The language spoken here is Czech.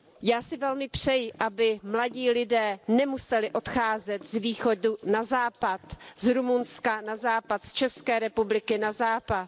Já si velmi přeji, aby mladí lidé nemuseli odcházet z Východu na Západ, z Rumunska na Západ, z České republiky na Západ.